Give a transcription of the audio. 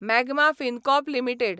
magma Fincorp limited